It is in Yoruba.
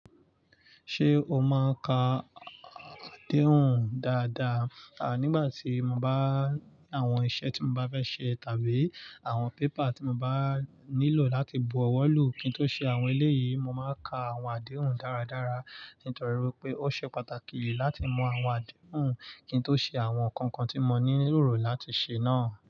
Ṣé o máa ń ka adehun dáadáa? Nígbà tí mo bá ní àwọn iṣẹ́ tí mo bá fẹ́ ṣe tàbí àwọn paper tí mo bá nílò láti bu ọwọ́ lù kín tó ṣe àwọn eléyìí, mo máa ka àwọn adehun dáradára. Nítorí wipé ó ṣe pàtàkì láti mọ àwọn adehun kín tó ṣe àwọn kankan tí mo nílò láti ṣe náà.